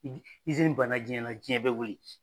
Iz izini banna diɲɛ na diɲɛ bɛ wili